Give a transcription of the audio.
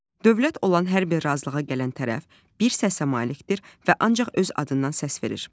Dövlət olan hər bir razılığa gələn tərəf bir səsə malikdir və ancaq öz adından səs verir.